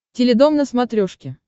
теледом на смотрешке